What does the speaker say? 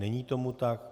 Není tomu tak.